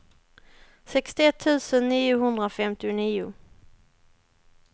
sextioett tusen niohundrafemtionio